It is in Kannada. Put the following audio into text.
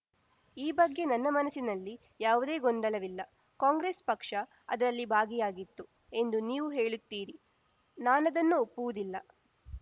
ಈ ಬಗ್ಗೆ ನನ್ನ ಮನಸ್ಸಿನಲ್ಲಿ ಯಾವುದೇ ಗೊಂದಲವಿಲ್ಲ ಕಾಂಗ್ರೆಸ್‌ ಪಕ್ಷ ಅದರಲ್ಲಿ ಭಾಗಿಯಾಗಿತ್ತು ಎಂದು ನೀವು ಹೇಳುತ್ತೀರಿ ನಾನದನ್ನು ಒಪ್ಪುವುದಿಲ್ಲ